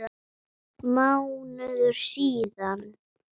Mánuður síðan?